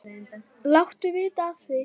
Láttu vita af því.